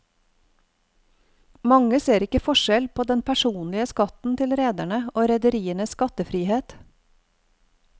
Mange ser ikke forskjell på den personlige skatten til rederne og rederienes skattefrihet.